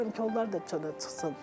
İstəyirəm ki, onlar da çölə çıxsın.